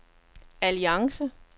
alliance